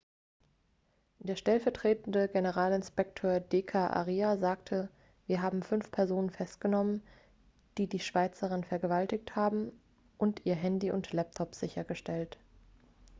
der stellvertretende generalinspekteur d k arya sagte wir haben fünf personen festgenommen die die schweizerin vergewaltigt haben und ihr handy und laptop sichergestellt